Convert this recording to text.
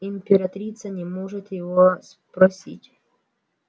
императрица не может его спростить